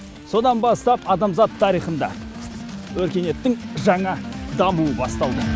содан бастап адамзат тарихында өркениеттің жаңа дамуы басталды